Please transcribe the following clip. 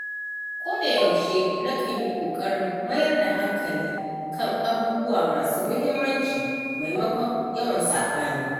Ko da yaushe na kan yi ƙoƙarin mayar da hankali kan abubuwa masu muhimmanci maimakon yawan saɓani